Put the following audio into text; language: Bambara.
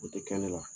O tɛ kɛ ne la